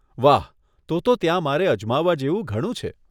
વાહ, તો તો ત્યાં મારે અજમાવવા જેવું ઘણું છે.